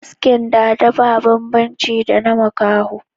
Asken dada ba babban ci da na makaho